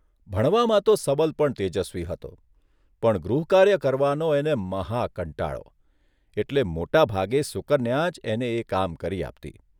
ભણવામાં તો સબલ પણ તેજસ્વી હતો, પણ ગૃહકાર્ય કરવાનો અને મહાકંટાળો એટલે મોટાભાગે સુકન્યા જ એને એ કામ કરી આપતી.